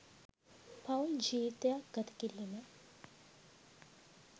පවුල් ජීවිතයක් ගතකිරීම